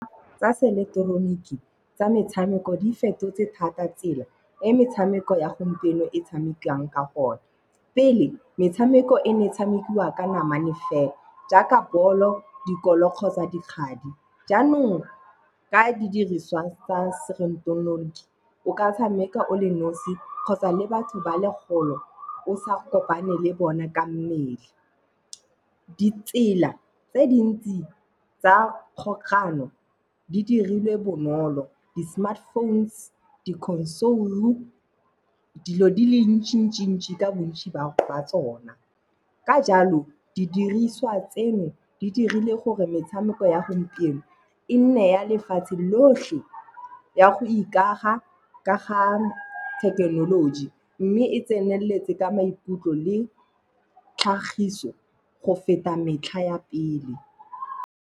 Tsa se eleketeroniki, tsa metshameko di fetotse thata tsela e metshameko ya gompieno e tshamekiwang ka gone pele, metshameko e ne tshamekiwa ka namane fela. Jaaka balo, dikolo kgotsa dikgadi jaanong ka didiriswa tsa se eleketeroniki o ka tshameka o le nosi kgotsa le batho ba le kgole o sa kopane le bona ka mmele. Ditsela tse dintsi tsa kgogano di dirilwe bonolo di Smartphones di Console dilo di le ntši ntši ntši ka bontsi ba tsona ka jalo di diriswa tseno di dirile gore metshameko ya gompieno e nne ya lefatshe lotlhe ya go ikaga ka ga thekenoloji, mme e tseneletse ka maikutlo le tlhagiso go feta metlha ya pele.